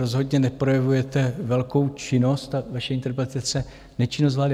Rozhodně neprojevujete velkou činnost a vaše interpelace - Nečinnost vlády.